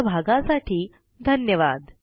सहभागासाठी धन्यवाद